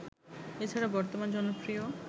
এছাড়া বর্তমান জনপ্রিয়